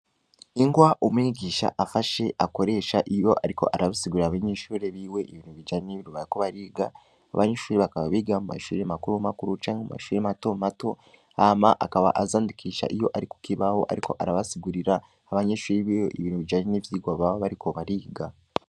Inkwa umwigisha afashe akoresha iyo, ariko arabasigurira abanyenshuri biwe ibintu bijane n'ibirubayako bariga abanyinshuri bakaba biga mu mashuri makuru makuru canke mu mashuri mato mato ama akaba azandikisha iyo, ariko kibaho, ariko arabasigurira abanyenshuri biwe ibintu bijanye n'ivyirwa baba bari ko bariga.